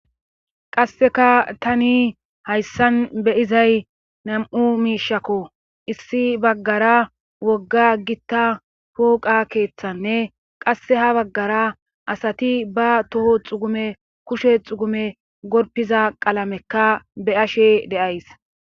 Qasseka tani hayssan be izay nam7u miishakko issi baggara wogga gitta pooqa keeththanne qasse ha baggara asati ba toho xugume kushe xugume gorpiza qalamekka be ashe deays